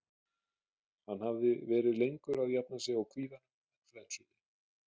Hann hafði verið lengur að jafna sig á kvíðanum en flensunni.